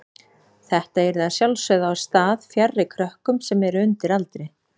Þetta yrði að sjálfsögðu á stað fjarri krökkum sem eru undir aldri.